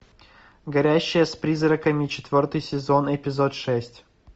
говорящая с призраками четвертый сезон эпизод шесть